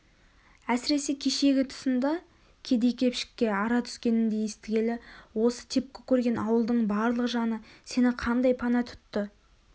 әсіресе кешегі тұсында кедей-кепшікке ара түскенінді естігелі осы тепкі көрген ауылдың барлық жаны сені қандай пана тұтты